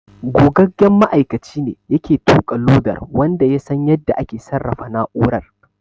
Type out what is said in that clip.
Gogaggen ma'aikaci ne yake tuƙa lodar wanda ya san yadda ake sarrafa na'urar.